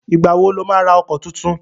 Ìgbà wo lo má ra ọkọ̀ tuntun?